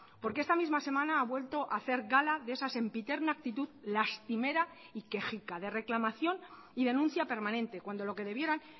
porque esta misma semana ha vuelto a hacer gala de esa sempiterna actitud lastimera y quejica de reclamación y denuncia permanente cuando lo que debieran